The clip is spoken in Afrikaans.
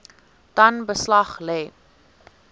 dan beslag lê